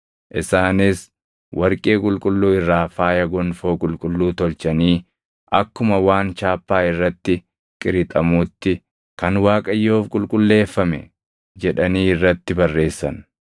Isaanis warqee qulqulluu irraa faaya gonfoo qulqulluu tolchanii akkuma waan chaappaa irratti qirixamuutti: Kan Waaqayyoof Qulqulleeffame, jedhanii irratti barreessan.